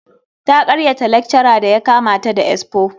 Ta karyata lecturer da ya kama ta da expo.